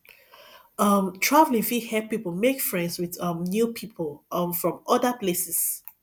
um travelling fit help pipo make friends with um new pipo um from from other places